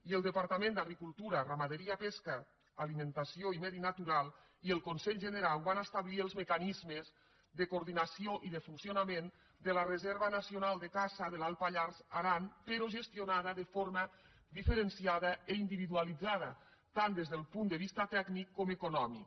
i el depar·tament d’agricultura ramaderia pesca alimentació i medi natural i el conselh generau van establir els mecanismes de coordinació i de funcionament de la reserva nacional de caça de l’alt pallars · aran però gestionada de forma diferenciada i individualitzada tant des del punt de vista tècnic com econòmic